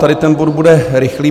Tady ten bod bude rychlý.